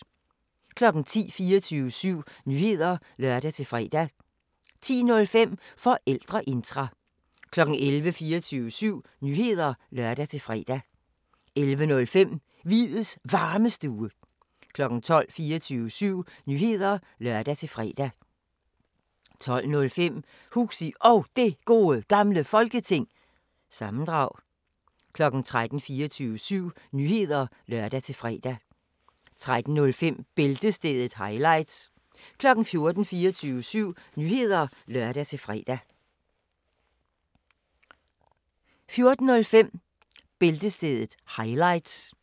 10:00: 24syv Nyheder (lør-fre) 10:05: Forældreintra 11:00: 24syv Nyheder (lør-fre) 11:05: Hviids Varmestue 12:00: 24syv Nyheder (lør-fre) 12:05: Huxi Og Det Gode Gamle Folketing- sammendrag 13:00: 24syv Nyheder (lør-fre) 13:05: Bæltestedet – highlights 14:00: 24syv Nyheder (lør-fre) 14:05: Bæltestedet – highlights